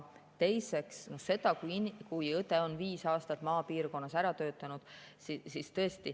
Teiseks see, et õde peab viis aastat maapiirkonnas ära töötama.